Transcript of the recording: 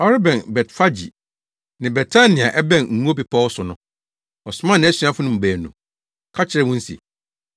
Ɔrebɛn Betfage ne Betania a ɛbɛn Ngo Bepɔw so no, ɔsomaa nʼasuafo no mu baanu ka kyerɛɛ wɔn se,